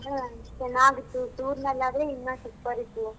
ಚೆನ್ನಾಗಿತ್ತು tour ನಲ್ ಆದ್ರೆ ಇನ್ನ super ಇತ್ತು.